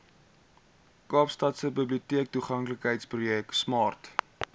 kaapstadse biblioteektoeganklikheidsprojek smart